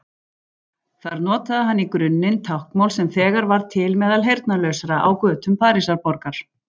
Þar notaði hann í grunninn táknmál sem þegar var til meðal heyrnarlausra á götum Parísarborgar.